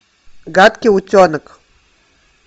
гадкий утенок